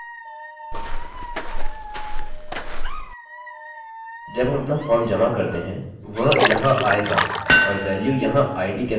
जब हम अपना फॉर्म जमा करते हैं वह यहाँ आएगा और वेल्यू यहाँ id के अंदर समाहित की जाएगी